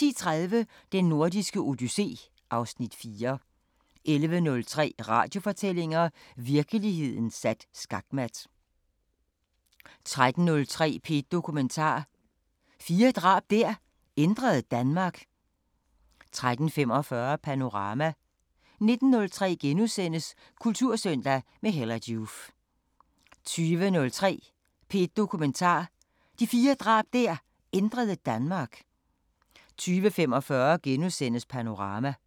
10:30: Den Nordiske Odyssé (Afs. 4) 11:03: Radiofortællinger: Virkeligheden sat skakmat 13:03: P1 Dokumentar: Fire drab der ændrede Danmark 13:45: Panorama 19:03: Kultursøndag – med Hella Joof * 20:03: P1 Dokumentar: Fire drab der ændrede Danmark 20:45: Panorama *